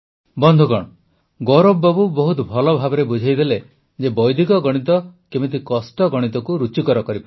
ବନ୍ଧୁଗଣ ଗୌରବ ବାବୁ ବହୁତ ଭଲଭାବେ ବୁଝାଇଲେ ଯେ ବୈଦିକ ଗଣିତ କେମିତି କଷ୍ଟ ଗଣିତକୁ ରୁଚିକର କରିପାରେ